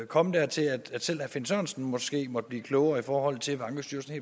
komme dertil at selv herre finn sørensen måske måtte blive klogere i forhold til hvad ankestyrelsen